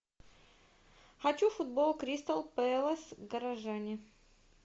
хочу футбол кристал пэлас горожане